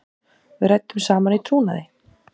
Við ræddum saman í trúnaði.